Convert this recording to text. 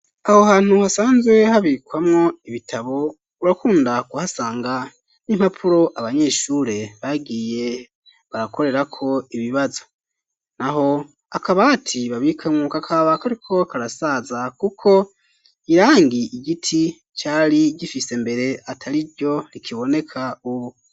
Aho hantu hasanzwe habikwamwo ibitabo urakunda kuhasanga impapuro abanyeshure bagiye barakorerako ibibazo naho akabati babikamwo kaba kariko karasaza kuko irangi igiti cari gifise mbere atariryo rikiboneka ubu